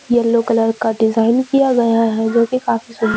yellow colour का design किया गया है जो की काफी सुन--